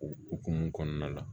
O hukumu kɔnɔna la